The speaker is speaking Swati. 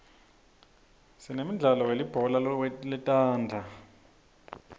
sinemdlalo welibhola letandla